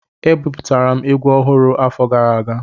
Eweputara egwu ọhụrụ afọ gara aga